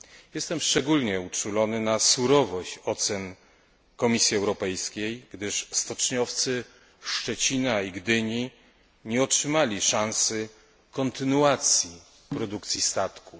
Jestem szczególnie uczulony na surowość ocen Komisji Europejskiej, gdyż stoczniowcy Szczecina i Gdyni nie otrzymali szansy kontynuacji produkcji statków.